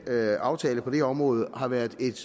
aftale på det område har været et